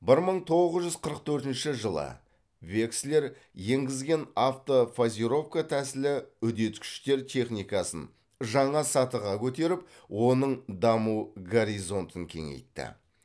бір мың тоғыз жүз қырық төртінші жылы векслер енгізген автофазировка тәсілі үдеткіштер техникасын жаңа сатыға көтеріп оның даму горизонтын кеңейтті